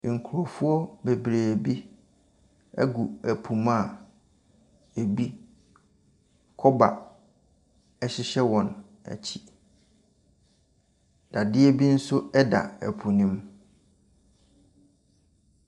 Nkrɔfoɔ bebree bi agu ɛpo mu a ebi kɔba hyehyɛ wɔn akyi. Dadeɛ bi nso da po no mu.